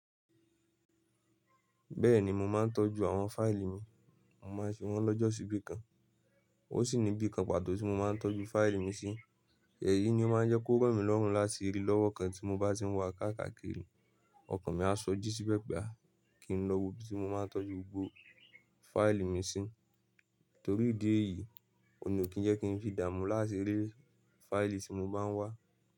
Bẹ́ẹ̀ni mo máa ń tọ́jú àwọn fáìlì mi, mo máa ń fi wọ́n lọ́jọ́ sí bí kan. Ó sì ní bí kan pàtó tí mo máa ń tọ́jú fáìlì mi sí. Èyí ni ó máa ń jẹ́ kó ràn mí lọ́rùn láti rí lọ́wọ́ kan tí mo bá ti ń wá kákàkiri, ọkàn mi á sọjí síbẹ̀ pe kí n lọ wo ibi tí mo máa ń tọ́jú gbogbo fáìlì mi sí. Torí ìdí èyí, òun ní ò kí ń jẹ́ kí n fi d'ààmú láti rí fáìlì tí mo bá ń wá.